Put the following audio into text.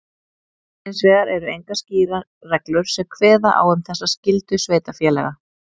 Hins vegar eru engar skýrar reglur sem kveða á um þessa skyldu sveitarfélaga.